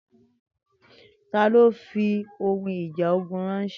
Tani o fi ohun ija ogun ranṣẹ?